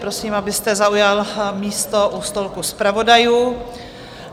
Prosím, abyste zaujal místo u stolku zpravodajů.